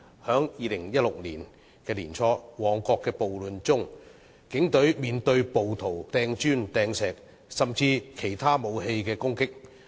在2016年年初的旺角暴亂中，警隊被暴徒拋擲磚石，甚至使用其他武器作攻擊。